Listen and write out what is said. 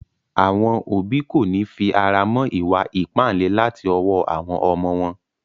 Àwọn òbí kòní fi ara mọ́ ìwa ìpáǹle láti ọwọ́ àwọn ọmọ wọn.